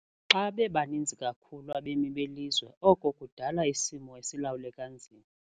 Xa bebaninzi kakhulu abemi belizwe oko kudala isimo esilawuleka nzima.